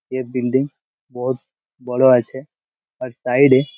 এই বিল্ডিং বহুত বড়ো আছে। আর সাইড -এ --